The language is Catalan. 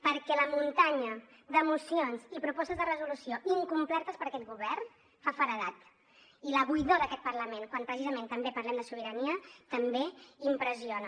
perquè la muntanya de mocions i propostes de resolució incomplertes per aquest govern fa feredat i la buidor d’aquest parlament quan precisament també parlem de sobirania també impressiona